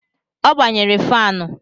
O gbanyere fanụ